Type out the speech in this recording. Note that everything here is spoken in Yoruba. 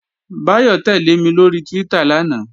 Báyọ̀ tẹ́lẹ̀ mi lóri Twitter lánàá